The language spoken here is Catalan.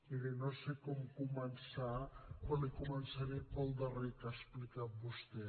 miri no sé com començar però començaré pel darrer que ha explicat vostè